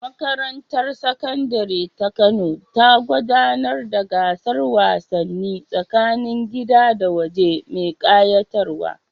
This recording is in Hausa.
Makarantar Sakandare ta Kano ta gudanar da gasar wasanni tsakanin gida da waje mai ƙayatarwa.